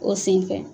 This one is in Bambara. O senfɛ